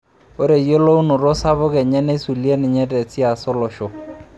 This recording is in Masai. Ore eyiolounoto sapuk enye neisulie ninye tesiasa olosho.